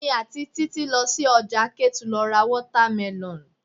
Èmi àti Títí lọ sí ọjà Ketu lọ ra watermelon.